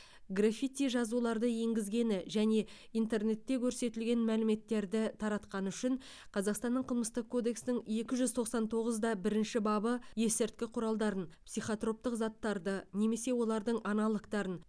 граффити жазуларды енгізгені және интернетте көрсетілген мәліметтерді таратқаны үшін қазақстанның қылмыстық кодексінің екі жүз тоқсан тоғыз да бірінші бабы есірткі құралдарын психотроптық заттарды немесе олардың аналогтарын